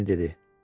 Ginni dedi.